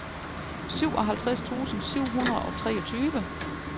syvoghalvtreds tusind syv hundrede og treogtyve